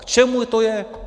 K čemu to je?